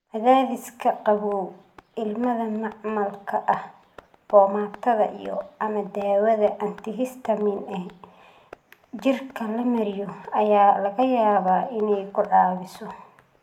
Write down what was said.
Cadaadiska qabow, ilmada macmalka ah, boomaatada iyo/ama daawada antihistamiin ee jirka la mariyo ayaa laga yaabaa inay ku caawiso.